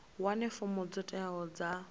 wane fomo dzo teaho dza